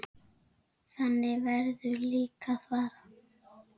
Þannig verður líka að fara.